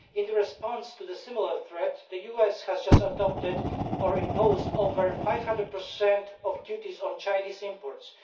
In response to a similar threat, the US has just adopted or imposed over 500 of duties on Chinese imports.